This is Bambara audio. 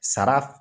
Sara